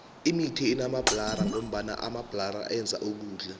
imithi inamabhlara ngoba amabhlara enza ukudla